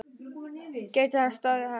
Gæti hann staðist hana?